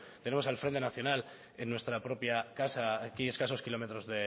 tenemos al frente nacional en nuestra propia casa aquí a escasos kilómetros